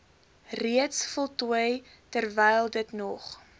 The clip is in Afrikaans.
reeds voltooi terwylditnog